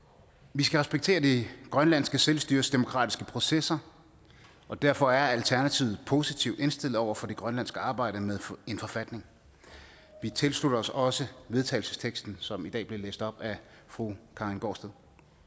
vi skal respektere det grønlandske selvstyres demokratiske processer og derfor er alternativet positivt indstillet over for det grønlandske arbejde med en forfatning vi tilslutter os også vedtagelsesteksten som i dag blev læst op af fru karin gaardsted